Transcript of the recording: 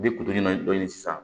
Bi sisan